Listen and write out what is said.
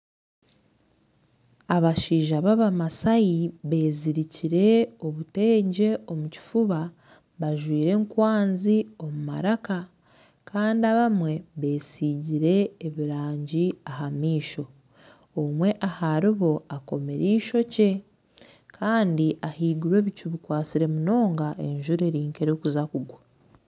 Abashaija babamasai bezirikire obutengye omu kifuba bajwaire enkwanzi omu maraka Kandi abamwe besingire ebirangi aha maisho omwe aharibo akomire eishookye Kandi ahaiguru ebicu bikwatsire munonga enjura eri nkerikuza kugwa